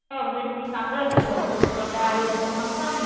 म्हणजे मी टाकत असते फोटो तर त्यातलं तुला काही आवडत असेल तर मला सांग.